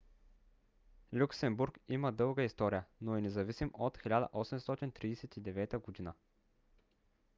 люксембург има дълга история но е независим от 1839 г